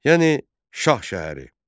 Yəni Şah şəhəri.